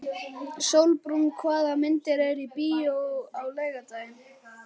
Sólbrún, hvaða myndir eru í bíó á laugardaginn?